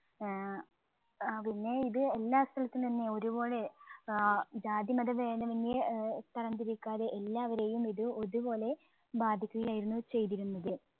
ഏർ അ പിന്നെ ഇത് എല്ലാ സ്ഥലത്ത് നിന്ന് ഒരുപോലെ ആഹ് ജാതിമത ഭേതമന്യേ ഏർ തരംതിരിക്കാതെ എല്ലാവരെയും ഇത് ഒരുപോലെ ബാധിക്കുകയായിരുന്നു ചെയ്തിരുന്നത്.